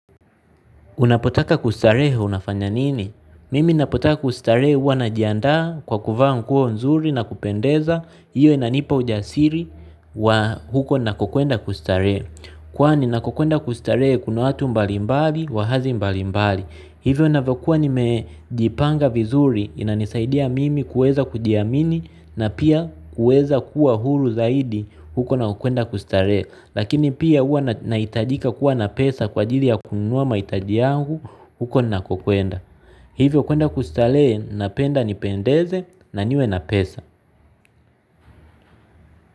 Unapotaka kustarehe unafanya nini? Mimi ninapo taka kustarehe huwa najianda kwa kuvaa nguo nzuri na kupendeza, hiyo inanipa ujasiri wa huko ninako kwenda kustarehe. Kwani ninako kwenda kustarehe kuna watu mbali mbali wahazi mbali mbali. Hivyo ninavyo kuwa nimejipanga vizuri inanisaidia mimi kuweza kujiamini na pia kuweza kuwa huru zaidi huko ninako kwenda kustarehe. Lakini pia huwa nahitajika kuwa na pesa kwa ajili ya kununuwa maitaji yangu huko ninako kwenda hivyo kuenda kustarehe napenda nipendeze na niwe na pesa.